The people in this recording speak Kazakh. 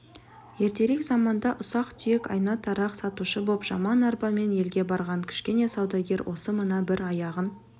ертерек заманда ұсақ-түйек айна-тарақ сатушы боп жаман арбамен елге барған кішкене саудагер осы мына бір аяғын